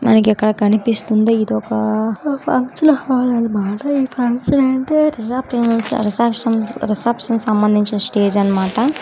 మనకిక్కడ కనిపిస్తుంది ఇదొక రిసెప్షన్స్ రిసెప్సన్ సంబందించిన స్టేజ్ అన్ మాట.